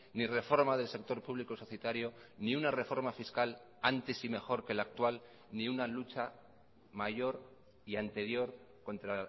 ni reforma del sector público societario ni una reforma fiscal antes y mejor que la actual ni una lucha mayor y anterior contra